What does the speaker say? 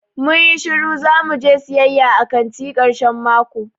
Mun yi shiru zamu je siyaya a kanti karshen mako.